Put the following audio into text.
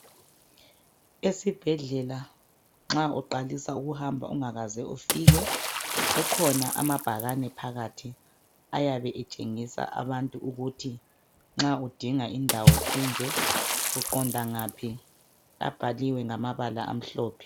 Esibhedlela nxa uqalisa ukuhamba ungakaze ufike kukhona amabhakane phakathi ayabe etshengisa abantu ukuthi nxa udinga indawo enje uqonda ngaphi , abhaliwe ngamabala amhlophe